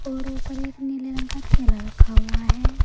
और ऊपर एक नीले रंग का ठेला रखा हुआ है।